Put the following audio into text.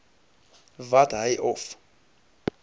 wat hy of